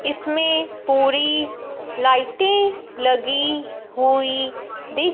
इसमें पूरी लाइटे लगी हुई दि--